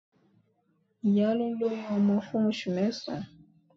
Ìyá ló lóyún ọmọ fún oṣù mẹ́sàn-án.